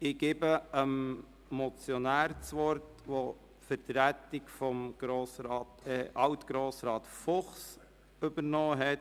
Ich erteile dem Motionär das Wort, der die Vertretung der Motion von alt Grossrat Fuchs übernommen hat.